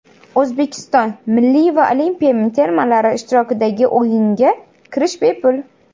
O‘zbekiston milliy va olimpiya termalari ishtirokidagi o‘yinga kirish bepul.